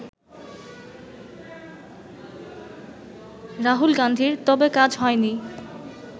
রাহুল গান্ধীর, তবে কাজ হয়নি